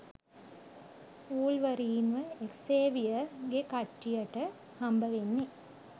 වුල්වරීන්ව Xavier ගෙ කට්ටියට හම්බවෙන්නේ